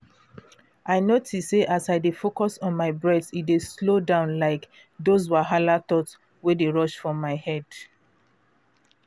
i notice say as i dey focus on my breath e dey slow down all those wahala thought wey dey rush for my head.